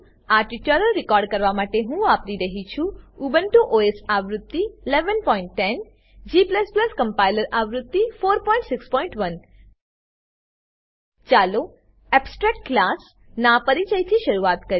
આ tutorial record કરવા માટે હું વાપરી રહ્યો છું ઉબુન્ટુ ઓએસ આવૃત્તિ 1110 g કમ્પાઈલર આવૃત્તિ 461 ચાલો એબ્સ્ટ્રેક્ટ ક્લાસ એબસ્ટ્રેક્ટ ક્લાસ નાં પરિચયથી શરૂઆત કરીએ